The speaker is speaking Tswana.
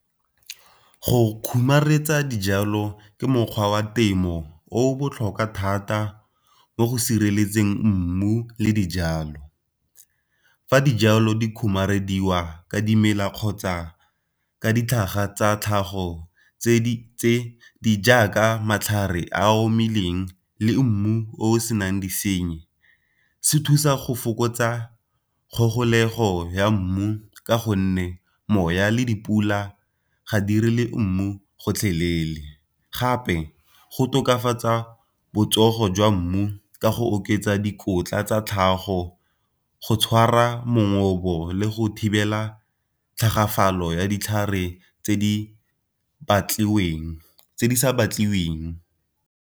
Go khurumetsa dijalo ke mokgwa wa temo o botlhokwa thata mo go sireletseng mmu le dijalo, fa dijalo di khurumediwa ka dimela kgotsa ka ditlhaga tsa tlhago tse di tse di jaaka matlhare a omileng le mmu o senang disenyi, se thusa go fokotsa kgogolego ya mmu ka gonne moya le dipula ga mmu gotlhelele. Gape go tokafatsa botsogo jwa mmu ka go oketsa dikotla tsa tlhago go tshwara le go thibela tlhagafalo ya ditlhare tse di sa batlewing.